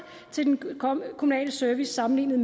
til den kommunale service sammenlignet